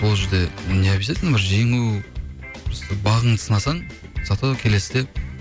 ол жерде необъязательно бір жеңу бағыңды сынасаң за то келесіде